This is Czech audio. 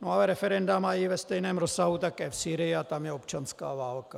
No ale referenda mají ve stejném rozsahu také v Sýrii a tam je občanská válka.